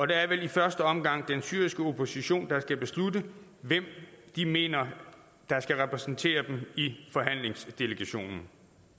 det er vel i første omgang den syriske opposition der skal beslutte hvem de mener der skal repræsentere dem i forhandlingsdelegationen